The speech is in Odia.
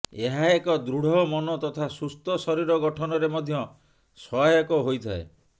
ଏହା ଏକ ଦୃଢ ମନ ତଥା ସୁସ୍ଥ ଶରୀର ଗଠନରେ ମଧ୍ୟ ସହାୟକ ହୋଇଥାଏ